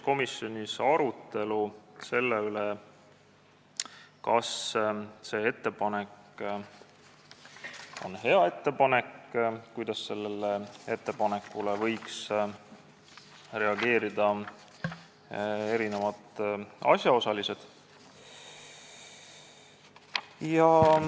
Komisjonis toimus arutelu selle üle, kas see ettepanek on hea ja kuidas sellele võiks reageerida erinevad asjaosalised.